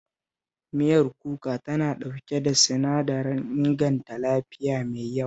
Miyar kuka tana ɗauke da sinadarin inganta lafiya mai yawa